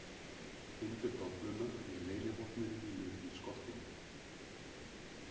Finndu dolluna með leynivopninu mínu í skottinu